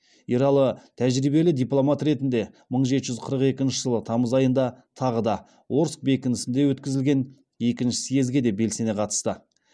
ералы тәжірибелі дипломат ретінде мың жеті жүз қырық екінші жылы тамыз айында тағы да орск бекінісінде өткізілген екінші съезге де белсене қатысты